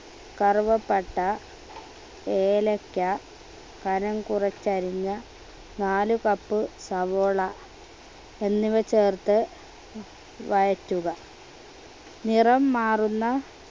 കറുവപ്പട്ട ഏലയ്ക്ക കനം കുറച്ച് അരിഞ്ഞ നാല് cup സവാള എന്നിവ ചേർത്ത് വഴറ്റുക നിറം മാറുന്ന